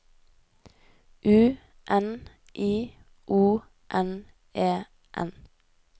U N I O N E N